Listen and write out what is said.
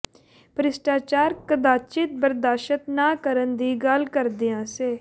ਭ੍ਰਿਸ਼ਟਾਚਾਰ ਕਦਾਚਿਤ ਬਰਦਾਸ਼ਤ ਨਾ ਕਰਨ ਦੀ ਗੱਲ ਕਰਦਿਆਂ ਸ